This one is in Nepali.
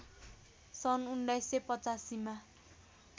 सन् १९८५ मा